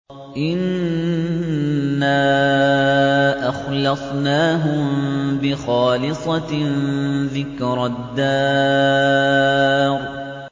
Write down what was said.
إِنَّا أَخْلَصْنَاهُم بِخَالِصَةٍ ذِكْرَى الدَّارِ